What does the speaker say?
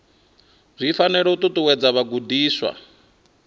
zwi fanela u ṱuṱuwedza vhagudiswa